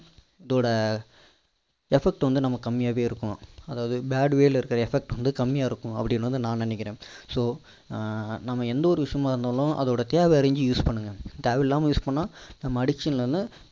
இதோட effect வந்துட்டு நமக்கு கம்மியாவே இருக்கும் அதாபது bad way ல இருக்க effect வந்து கம்மியா இருக்கும் அப்படின்னு வந்து நான் நினைக்கிறேன் so நம்ம எந்த ஒரு விஷயமா இருந்தாலும் அதோட தேவை அறிந்து use பண்ணுங்க தேவை இல்லாம use பண்ணா நம்ம addiction ல இருந்து